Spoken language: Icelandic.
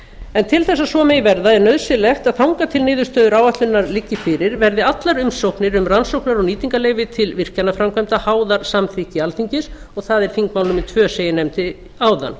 en til þess að svo megi verða er nauðsynlegt að þangað til niðurstöður áætlunar liggi fyrir verði allar umsóknir um rannsóknar og nýtingarleyfi til virkjanaframkvæmda háðar samþykki alþingi og það er þingmál númer tvö sem ég nefndi áðan